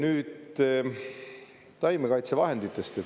Nüüd taimekaitsevahenditest.